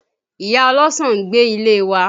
Ìyá ọlọ́sàn ń gbé ilé wa